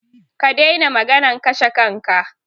Ka daina maganan kashe kanka!